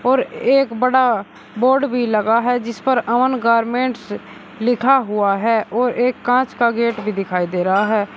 और एक बड़ा बोर्ड भी लगा है जिस पर अमन गारमेंट्स लिखा हुआ है और एक कांच का गेट भी दिखाई दे रहा है।